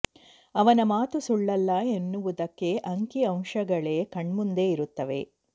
ಅವನ ಮಾತು ಸುಳ್ಳಲ್ಲ ಎನ್ನುವುದಕ್ಕೆ ಅಂಕಿ ಅಂಶಗಳೇ ಕಣ್ಮುಂದೆ ಇರುತ್ತವೆ